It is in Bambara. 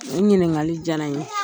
N ɲininkali diyara n ye.